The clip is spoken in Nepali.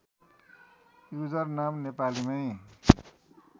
युजर नाम नेपालीमै